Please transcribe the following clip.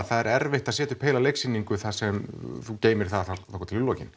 það er erfitt að setja upp heila leiksýningu þar sem þú geymir það þangað til í lokin